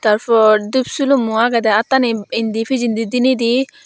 tar por dup silummo agede attani indo pijedi dinidi.